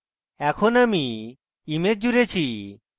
এখন আমি image জুড়েছি